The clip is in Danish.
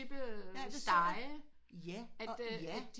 Stege at de